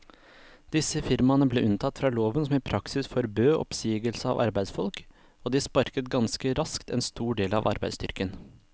Disse firmaene ble unntatt fra loven som i praksis forbød oppsigelse av arbeidsfolk, og de sparket ganske raskt en stor del av arbeidsstyrken.